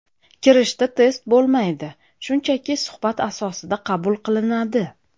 Kirishda test bo‘lmaydi, shunchaki suhbat asosida qabul qilinadi.